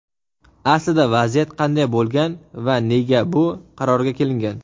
Aslida vaziyat qanday bo‘lgan va nega bu qarorga kelingan?.